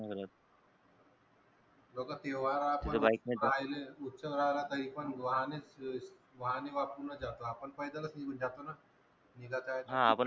लोक त्योहारात पण उत्सव राहील तरी पण वाहने च, वाहने वापरून जातो आपण पैदल निघून जात न निघाचा आहे तर